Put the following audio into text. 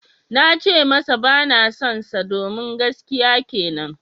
Na ce masa ba na sonsa domin gaskiya kenan.